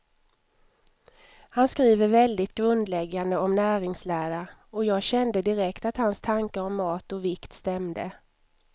Han skriver väldigt grundläggande om näringslära, och jag kände direkt att hans tankar om mat och vikt stämde.